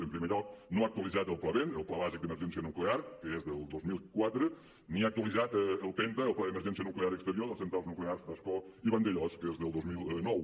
en primer lloc no ha actualitzat el pla ben el pla bàsic d’emergència nuclear que és del dos mil quatre ni ha actualitzat el penta el pla d’emergència nuclear exterior de les centrals nuclears d’ascó i vandellòs que és del dos mil nou